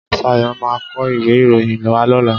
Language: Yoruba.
Ṣayo máa kó ìwé ìròyìn wá lóla?